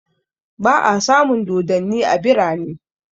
Ba'a samun dodanni a birane